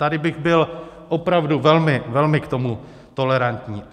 Tady bych byl opravdu velmi, velmi k tomu tolerantní.